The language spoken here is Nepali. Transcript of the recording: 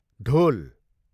ढोल